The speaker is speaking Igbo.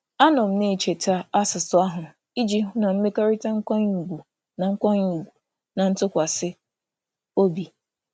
Ịnọgide na-enwe uche banyere na-enwe uche banyere mmegharị ahụ na-eme ka mmekọrịta nkwanye ùgwù na nke ntụkwasị obi dị.